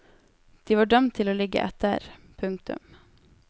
De var dømt til å ligge etter. punktum